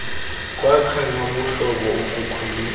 kwakha nobuhlobo ukukhwelisa